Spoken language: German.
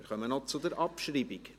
Wir kommen noch zur Abschreibung.